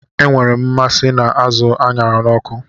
Enwere m mmasị na azụ a ṅara n'ọkụ